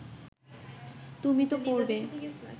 তুমি তো পড়বে